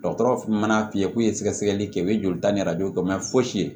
Dɔgɔtɔrɔ mana f'i ye k'u ye sɛgɛsɛgɛli kɛ u bɛ joli ta ni kɛ fosi ye